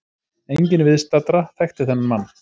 Enginn viðstaddra þekkti þennan mann.